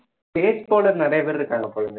நிறைய பேர் இருக்காங்க போல